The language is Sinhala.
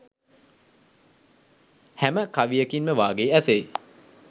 හැම කවියකින්ම වාගේ ඇසෙයි.